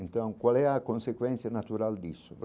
Então, qual é a consequência natural disso?